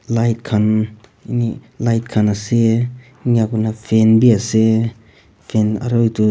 light khan light khan ase enika kurena fan bhi ase fan aro etu--